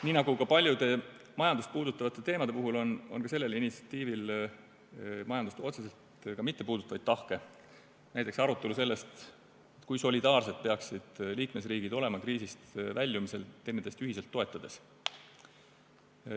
Nii nagu paljude majandust puudutavate teemade puhul, on ka sellel initsiatiivil majandust otseselt mittepuudutavaid tahke, näiteks arutelu, kui solidaarsed peaksid liikmesriigid olema kriisist väljumisel üksteist ühiselt toetades.